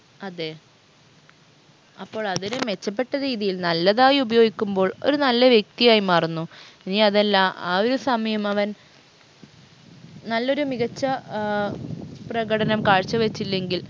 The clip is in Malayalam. അതെ അപ്പോൾ അതൊരു മെച്ചപ്പെട്ട രീതിയിൽ നല്ലതായി ഉപയോഗിക്കുമ്പോൾ ഒരു നല്ല വ്യക്തിയായി മാറുന്നു ഇനിയതല്ല ആ ഒരു സമയം അവൻ നല്ലൊരു മികച്ച ഏർ പ്രകടനം കാഴ്ച വച്ചില്ലെങ്കിൽ